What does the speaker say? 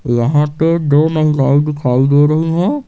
यहां पे दो महिलाएं दिखाई दे रही हैं।